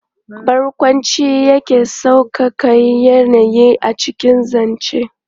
Barƙwanci yakan sauƙaƙa yanayi a cikin zance.